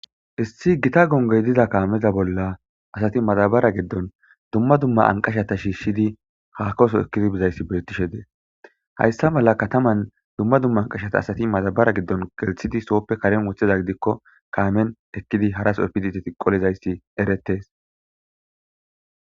Issi gita gongoy diza kaameza bolla asati matabara giddon dumma dumma anqashata shiishshidi hakoso ekkidi bizayssi beettishe dees hayssa mala kataman dumma dumma anqashata asati matabara giddon gelthidi sooppe karen wotheza gidikko kaamen ekkidi harasoefidi ti tiqolizayssi eretes.